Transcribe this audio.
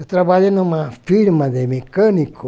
Eu trabalhei em uma firma de mecânico.